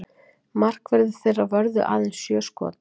Markverðir þeirra vörðu aðeins sjö skot